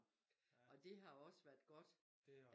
Og det har også været godt